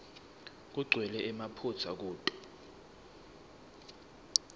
kugcwele emaphutsa kuto